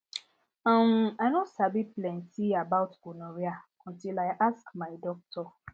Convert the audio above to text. uhm i no sabi plenty about gonorrhea until i ask my doctor